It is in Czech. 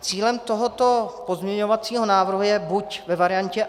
Cílem tohoto pozměňovacího návrhu je buď ve variantě